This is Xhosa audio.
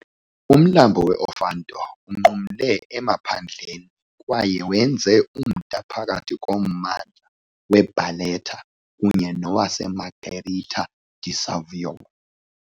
Umlambo we-Ofanto unqumla emaphandleni kwaye wenze umda phakathi kommandla weBarletta kunye nowaseMargherita di Savoia.